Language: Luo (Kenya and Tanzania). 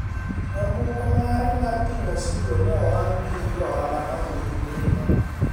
nyamburko mare mar ting'o osigo ne owang' gi jo ohala mane nigi mirima